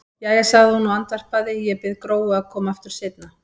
Jæja, sagði hún og andvarpaði, ég bið Gróu að koma aftur seinna.